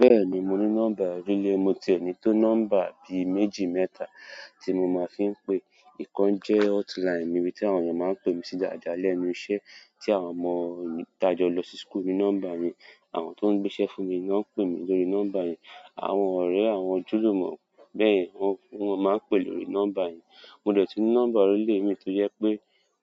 Bẹ́ẹ̀ni mo ní nọ́mbà oríle, mo ti ẹ nì tó nọ́mbà bí méjì mẹ́ta tí mo máa ń fi ń pè. Ìkan jẹ́ hotline mi ibí tí àwọn ènìyàn máa ń pè mí sí dáadáa lẹ́nu iṣẹ́ tí àwọn ọmọ tí àjọ lọ sí school ní nọ́mbà mi, àwọn tó ń gbéṣẹ́ fún mi náà pè mí lórí nọ́mbà yẹn, àwọn ọ̀rẹ́ àwọn ojúlùmọ̀ bẹ́ẹ̀, wọ́n máa ń pè lórí nọ́mbà yìí. Mo dẹ̀ ti ní nọ́mbà oríle mi tọ́ jẹ́ pé